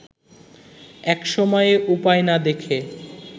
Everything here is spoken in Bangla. একসময়ে উপায় না দেখে